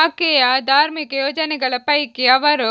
ಆಕೆಯ ಧಾರ್ಮಿಕ ಯೋಜನೆಗಳ ಪೈಕಿ ಅವರು